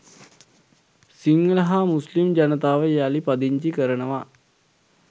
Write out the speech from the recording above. සිංහල හා මුස්ලිම් ජනතාව යළි පදිංචි කරනවා